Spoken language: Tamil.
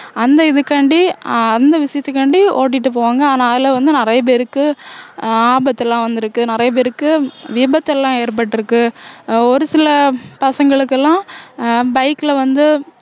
அந்த இதுக்காண்டி அஹ் அந்த விஷயத்துக்காண்டி ஓட்டிட்டு போவாங்க ஆனா அதுல வந்து நிறைய பேருக்கு ஆபத்து எல்லாம் வந்திருக்கு நிறைய பேருக்கு விபத்து எல்லாம் ஏற்பட்டிருக்கு ஒரு சில பசங்களுக்கு எல்லாம் அஹ் bike ல வந்து